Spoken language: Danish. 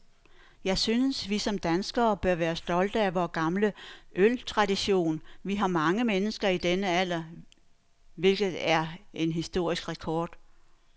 Jeg synes, vi som danskere bør være stolte af vor gamle øltradition. Vi har mange mennesker i denne alder, hvilket er en historisk rekord.